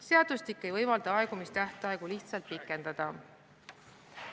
Seadus ei võimalda aegumistähtaegu lihtsalt pikendada.